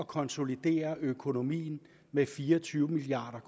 konsolidere økonomien med fire og tyve milliard